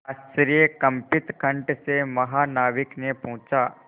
आश्चर्यकंपित कंठ से महानाविक ने पूछा